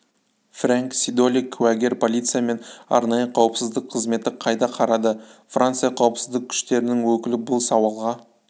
фрэнк сидоли куәгер полиция мен арнайы қауіпсіздік қызметі қайда қарады франция қауіпсіздік күштерінің өкілі бұл сауалға